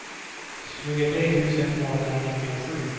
tjugotre tusen tvåhundranittiosju